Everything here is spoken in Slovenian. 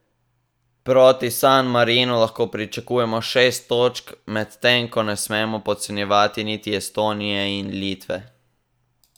Proti San Marinu lahko pričakujemo šest točk, medtem ko ne smemo podcenjevati niti Estonije in Litve.